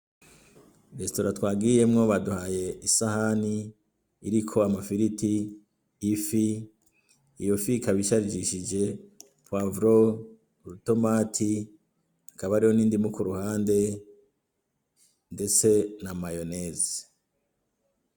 resitora twagiyemwo baduhaye isahani iriko amafiriti, ifi iyo fi ikaba isharishije poivro urutomati hakaba hariho n'indimu kuruhande ndetse na mayoneze.